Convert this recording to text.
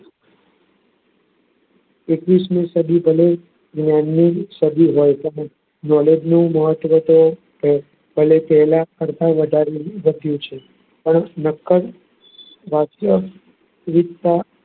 એકવીસ મી સદી ભલે જ્ઞાનની સદી હોય પણ knowledge નું મહત્વ તો પહેલા કરતા વધારે વધ્યું છે.